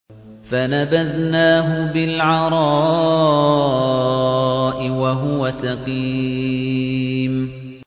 ۞ فَنَبَذْنَاهُ بِالْعَرَاءِ وَهُوَ سَقِيمٌ